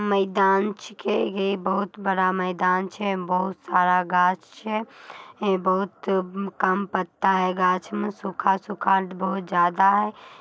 मैदान छीकेगे बहुत बड़ा मैदान छै बहुत सारा गाछ छै है बहुत म कम पत्ता है गाछ में सूखा-सूखा बहुत ज़्यादा है।